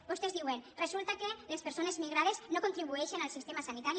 vostès diuen resulta que les persones migrades no contribueixen al sistema sanitari